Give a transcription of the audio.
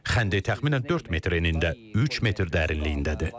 Xəndək təxminən 4 metr enində, 3 metr dərinliyindədir.